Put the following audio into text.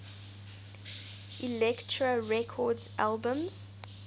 elektra records albums